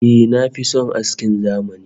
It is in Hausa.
Eh, na fi son askin zamani